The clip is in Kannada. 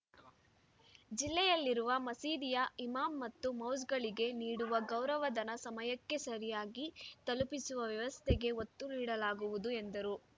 ಜಿಲ್ಲೆಯಲ್ಲಿರುವ ಮಸೀದಿಯ ಇಮಾಮ್‌ ಮತ್ತು ಮೌಸ್ ಗಳಿಗೆ ನೀಡುವ ಗೌರವಧನ ಸಮಯಕ್ಕೆ ಸರಿಯಾಗಿ ತಲುಪಿಸುವ ವ್ಯವಸ್ಥೆಗೆ ಒತ್ತು ನೀಡಲಾಗುವುದು ಎಂದರು